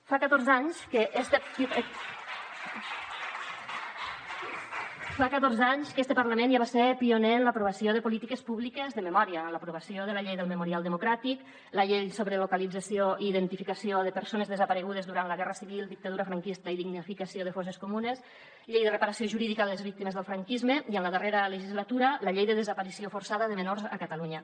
fa catorze anys que este parlament ja va ser pioner en l’aprovació de polítiques públiques de memòria amb l’aprovació de la llei del memorial democràtic la llei sobre localització i identificació de persones desaparegudes durant la guerra civil i la dictadura franquista i dignificació de fosses comunes la llei de reparació jurídica de les víctimes del franquisme i en la darrera legislatura la llei de desaparició forçada de menors a catalunya